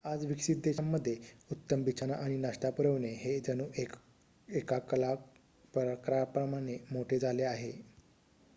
आज विकसित देशांमध्ये उत्तम बिछाना आणि नाश्ता पुरवणे हे जणू एका कला प्रकाराप्रमाणे मोठे झाले आहे